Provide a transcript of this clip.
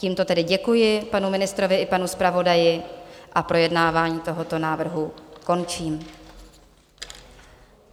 Tímto tedy děkuji panu ministrovi i panu zpravodaji a projednávání tohoto návrhu končím.